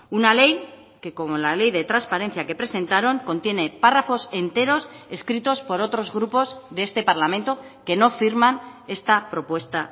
una ley que como la ley de transparencia que presentaron contiene párrafos enteros escritos por otros grupos de este parlamento que no firman esta propuesta